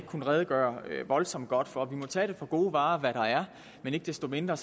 kunnet redegøre voldsomt godt for de må tage for gode varer hvad der er men ikke desto mindre